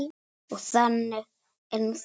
Og þannig er nú það.